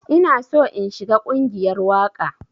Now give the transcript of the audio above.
Ina so in shiga ƙungiyar waƙa.